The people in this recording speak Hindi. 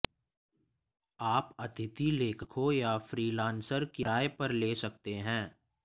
आप अतिथि लेखकों या फ्रीलांसर किराए पर ले सकते हैं